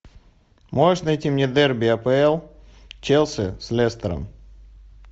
можешь найти мне дерби апл челси с лестером